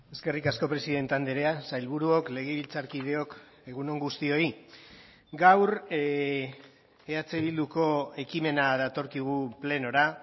eskerrik asko presidente andrea sailburuok legebiltzarkideok egun on guztioi gaur eh bilduko ekimena datorkigu plenora